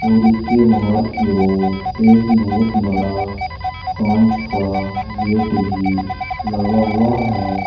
और इसके बाहर की ओर एक बहुत बड़ा कांच का गेट भी लगा हुआ है।